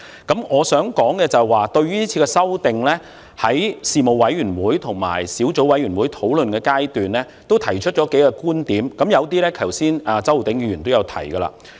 對於這次修訂，我在事務委員會和小組委員會討論階段提出了數個觀點，有些剛才周浩鼎議員也提過。